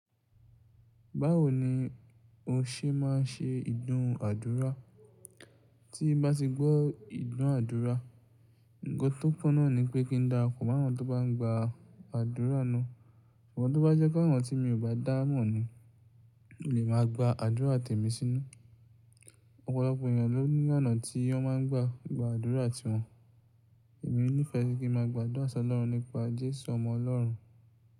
Báwo ni o ṣe máa n ṣe ìdún àdúrà? Tí bá ti gbọ́ ìdúnàádúrà, nǹkan tó kúnna ni pé kí n dára kù máàrún tó bá n gba àdúrà náà. Ṣùgbọ́n tó bá jẹ́ káàrọ̀ tí mi ò bá dáá mọ̀ ni, mi ò lè máa gba àdúrà tẹ̀ mí sínú. Ọ̀pọ̀lọpọ̀ ènìyàn ló ní ọ̀nà tí wọ́n má n gba gba àdúrà ti wọn. Èmi nífẹ̀ẹ́ kí n má a gba àdúrà sọlọ́run nípa Jésù ọmọ Ọlọ́run.